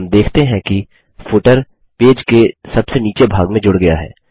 हम देखते हैं कि फुटर पेज के सबसे नीचे भाग में जुड़ गया है